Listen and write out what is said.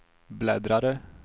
bläddrare